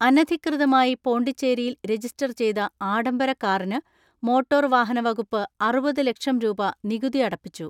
അനധികൃതമായി പോണ്ടിച്ചേരിയിൽ രജിസ്റ്റർ ചെയ്ത ആഡംബര കാറിന് മോട്ടോർ വാഹന വകുപ്പ് അറുപത് ലക്ഷം രൂപ നികുതി അടപ്പിച്ചു.